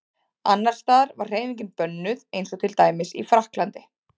Annars staðar var hreyfingin bönnuð eins og til dæmis í Frakklandi.